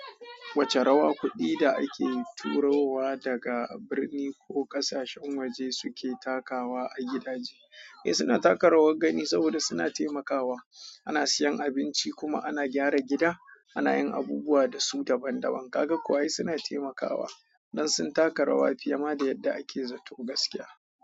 Wacce rawa kuɗi da ake turowa daga birni ko ƙasashen waje suke takawa a gidaje? Eh suna taka rawar gani saboda suna taimakawa ana siyan abinci kuma ana gyara gida, ana yin abubuwa da su daban daban. Kaga kuwa ai suna taimakawa don sun taka rawa fiye ma da yadda ake zato ma gaskiya.